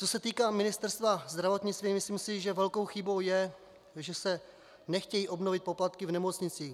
Co se týká Ministerstva zdravotnictví, myslím si, že velkou chybou je, že se nechtějí obnovit poplatky v nemocnicích.